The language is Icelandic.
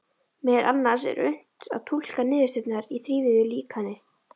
Meðal annars er unnt að túlka niðurstöðurnar í þrívíðu líkani.